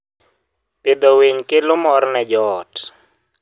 Pidho winy kelo mor ne joot.